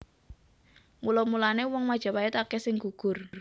Mula mulané wong Majapait akèh sing gugur